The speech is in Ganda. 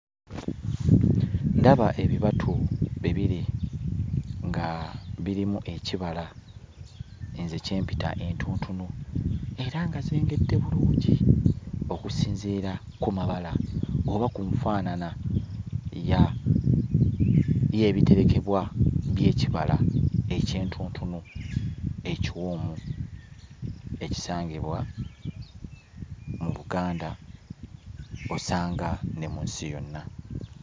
Ndaba ebibatu bibiri nga birimu ekibala nze kye mpita entuntunu era nga zengedde bulungi okusinziira ku mabala oba ku nfaanana ya y'ebiterekebwa by'ekibala eky'entuntunu ekiwoomu ekisangibwa mu Buganda osanga ne mu nsi yonna.